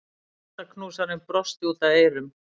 Hjartaknúsarinn brosti út að eyrum.